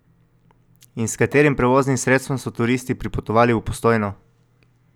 In s katerim prevoznim sredstvom so turisti pripotovali v Postojno?